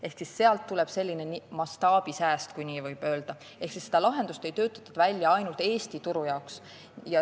Ehk sealt tuleb mastaabisääst, kui nii võib öelda, seda lahendust ei töötatud välja ainult Eesti turu jaoks.